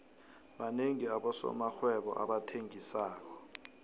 banengi abosomarhwebo abathengisako